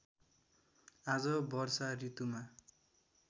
आज वर्षा ॠतुमा